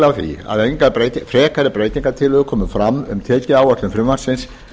á því að engar frekari breytingartillögur komu fram um tekjuáætlun frumvarpsins